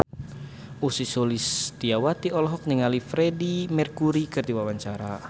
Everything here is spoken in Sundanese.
Ussy Sulistyawati olohok ningali Freedie Mercury keur diwawancara